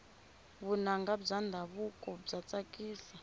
vunanga bya ndhavuko bya tsakisa